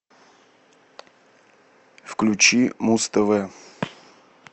включи муз тв